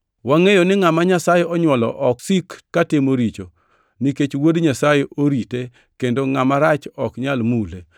Wangʼeyo ni ngʼama Nyasaye onywolo ok sik katimo richo, nikech Wuod Nyasaye orite kendo ngʼama rach ok nyal mule.